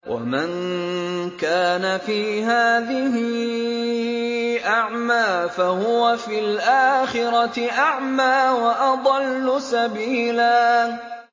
وَمَن كَانَ فِي هَٰذِهِ أَعْمَىٰ فَهُوَ فِي الْآخِرَةِ أَعْمَىٰ وَأَضَلُّ سَبِيلًا